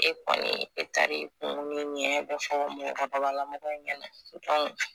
E kɔni e taara e